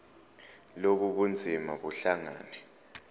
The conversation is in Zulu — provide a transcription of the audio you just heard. lobu bunzima buhlangane